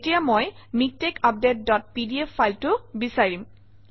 এতিয়া মই MiKTeX update dot PDF ফাইলটো বিচাৰিম